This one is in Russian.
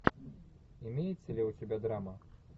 имеется ли у тебя драма